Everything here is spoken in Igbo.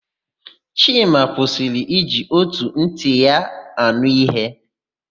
Chima kwụsịrị iji ótù ntị ya ànụ́ íhé.